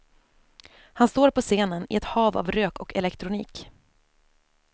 Han står på scenen i ett hav av rök och elektronik.